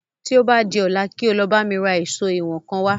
Tí o bá di ọ̀la kí o lọ bá mi ra èsó ìwọ̀n kan wá